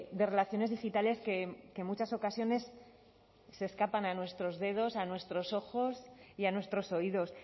de relaciones digitales que en muchas ocasiones se escapan a nuestros dedos a nuestros ojos y a nuestros oídos